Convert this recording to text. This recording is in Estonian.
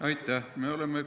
Aitäh!